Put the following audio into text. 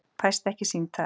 Fæst ekki sýnd þar.